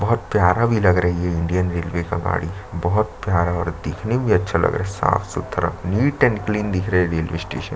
बहुत प्यारा भी लग रही है इंडियन रेलवे का गाड़ी बहुत प्यारा और दिखने में भी अच्छा लगा रहा है साफ -सुथरा नीट एंड क्लीन दिख रहा है रेलवे स्टेशन --